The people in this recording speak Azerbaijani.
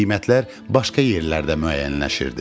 Qiymətlər başqa yerlərdə müəyyənləşirdi.